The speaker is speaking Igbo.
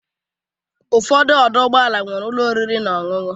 Ụfọdụ ọdọ ụgbọala nwere ụlọ oriri na ọṅụṅụ.